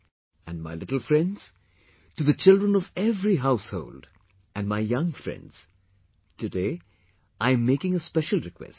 And, my little friends, to the children of every household, and my young friends, today, I am making a special request